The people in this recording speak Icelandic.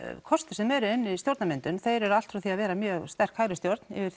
kostir sem eru inni í stjórnarmyndun þeir eru allt frá því að vera mjög sterk hægri stjórn yfir